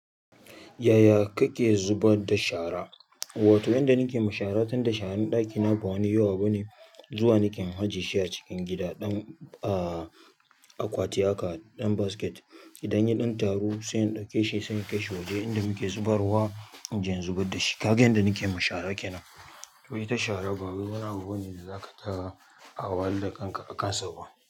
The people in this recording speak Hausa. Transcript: Yaya kake zuba da shara? Wato inda nake mashara, tunda sharan ɗakina ba wani yawa bane. Zuwa nake in ajiyeshi a cikin gida, ɗan a akwati haka ɗan basket. Idan ya ɗan taro, sai in ɗauke shi sai in kai shi waje inda muke zubarwa, inje in zubar da shi. Kaga yanda nake ma shara kenan. To ita shara ba wai wani abu bane da zaka ta wahal dakanka akansa ba.